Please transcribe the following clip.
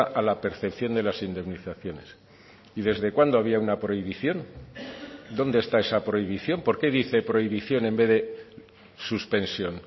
a la percepción de las indemnizaciones y desde cuándo había una prohibición dónde está esa prohibición por qué dice prohibición en vez de suspensión